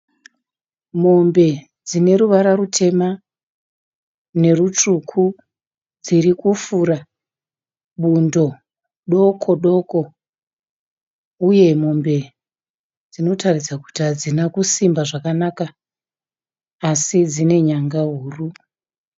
Mombe dzineruvara rutema nerutsvuku. Dzirikufura bundo doko doko uye mombe dzinotaridza kuti hadzina kusimba zvakanaka asi dzine nyanga huru.